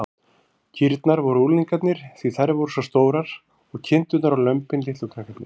Kýrnar væru unglingarnir, því þær væru svo stórar, og kindurnar og lömbin litlu krakkarnir.